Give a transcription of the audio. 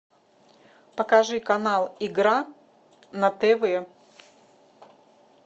покажи канал игра на тв